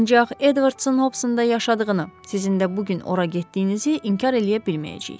Ancaq Edvardsın Hobsonda yaşadığını, sizin də bu gün ora getdiyinizi inkar eləyə bilməyəcəyik.